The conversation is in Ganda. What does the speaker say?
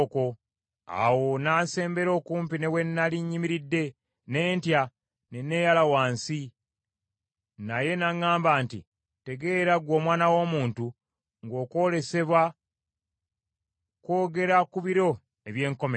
Awo n’asembera okumpi ne we nnali nnyimiridde, ne ntya, ne neeyala wansi. Naye n’aŋŋamba nti, “Tegeera, ggwe omwana w’omuntu, ng’okwolesebwa, kwogera ku biro eby’enkomerero.”